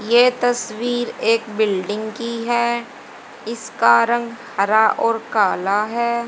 यह तस्वीर एक बिल्डिंग की है। इसका रंग हरा और काला है।